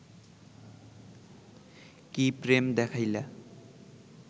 কি প্রেম দেখাইলা